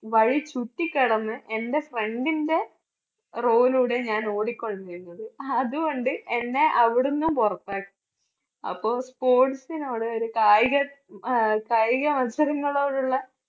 വഴി ചുറ്റികടന്ന് എൻറെ friend ന്റെ row യിലൂടെയാ ഞാൻ ഓടിക്കൊണ്ടിരുന്നത്. അതുകൊണ്ട് എന്നെ അവിടുന്നും പുറത്താക്കി അപ്പോൾ sports നാണ് ഒരു കായിക ഹും കായിക മത്സരങ്ങളോടുള്ള